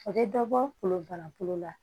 A bɛ dɔ bɔ kolon bana kolon la